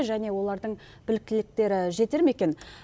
және олардың біліктіліктері жетер ме екен